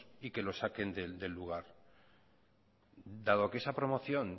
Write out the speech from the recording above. y que los saquen del lugar dado que esa promoción